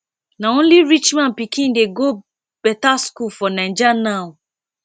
na only rich man pikin dey go better school for naija now